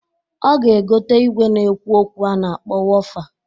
Ọ ga-egota igwe na-ekwu okwu a na-akpọ wofa.